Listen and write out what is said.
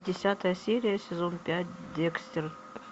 десятая серия сезон пять декстер